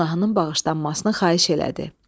Günahının bağışlanmasını xahiş elədi.